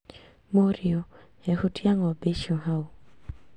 Mũrĩũ ehutia ng´ombe icio hau